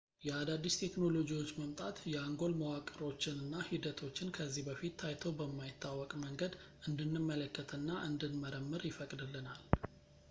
የአዳዲስ ቴክኖሎጂዎች መምጣት የአንጎል መዋቅሮችን እና ሂደቶችን ከዚህ በፊት ታይቶ በማይታወቅ መንገድ እንድንመለከት እና እንድንመረምር ይፈቅድልናል